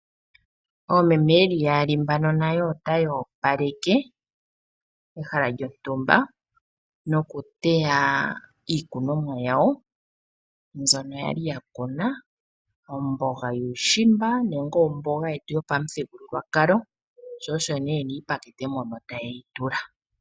Oomeme ye li yaali mbaka nayo otaya opaleke pehala lyontumba nokuteya iikunomwa yawo mbyono ya li ya kuna; omboga yuushimba nenge omboga yetu yopamuthigululwakalo, sho osho nee ye na iipakete moka taye yi tula.